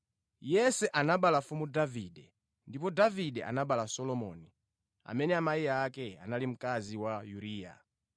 Yese anabereka Mfumu Davide. Ndipo Davide anabereka Solomoni, amene amayi ake anali mkazi wa Uriya.